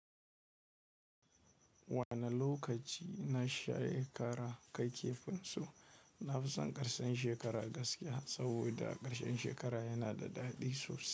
Wane lokaci na share kara kai kifinsu? Na fi son karshen shekara gaskiya, saboda karshen shekara yana da daɗi sosai.